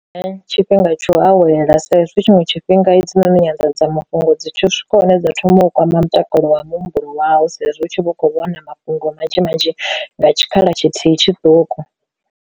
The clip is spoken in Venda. Nṋe tshifhinga tsho awela sa izwi tshiṅwe tshifhinga hedzinoni nyanḓadzamafhungo dzi tsho swika hune dza thoma u kwama mutakalo wa muhumbulo wawu sa izwi u tshi vhu khou vhona mafhungo manzhi manzhi nga tshikhala tshithihi tshiṱuku.